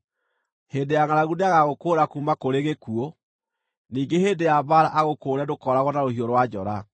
Hĩndĩ ya ngʼaragu nĩagagũkũũra kuuma kũrĩ gĩkuũ, ningĩ hĩndĩ ya mbaara agũkũũre ndũkooragwo na rũhiũ rwa njora.